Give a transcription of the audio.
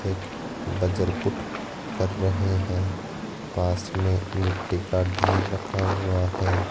एक बजर कर रहे हैं पास में मिट्टी का देर रखा हुआ है।